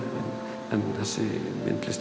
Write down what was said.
en þessi myndlist